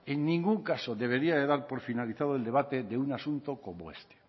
en ningún caso debería dar por finalizado el debate de un asunto como este